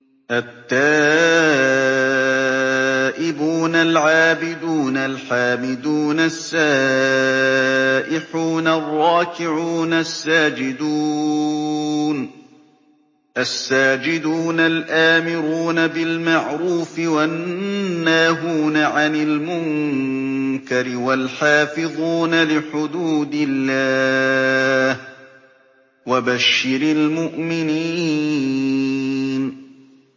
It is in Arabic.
التَّائِبُونَ الْعَابِدُونَ الْحَامِدُونَ السَّائِحُونَ الرَّاكِعُونَ السَّاجِدُونَ الْآمِرُونَ بِالْمَعْرُوفِ وَالنَّاهُونَ عَنِ الْمُنكَرِ وَالْحَافِظُونَ لِحُدُودِ اللَّهِ ۗ وَبَشِّرِ الْمُؤْمِنِينَ